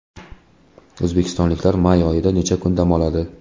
O‘zbekistonliklar may oyida necha kun dam oladi?.